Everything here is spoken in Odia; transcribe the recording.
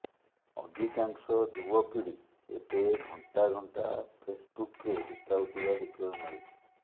ଅଧିକାଂଶ ଯୁବପିଢ଼ି ଏବେ ଘଣ୍ଟା ଘଣ୍ଟା ଫେସ୍ବୁକ୍ରେ ବିତାଉଥିବା ଦେଖିବାକୁ ମିଳୁଛି